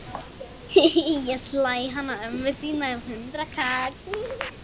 Ég slæ hana ömmu þína um hundraðkall.